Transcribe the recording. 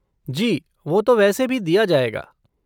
जी, वो तो वैसे भी दिया जाएगा।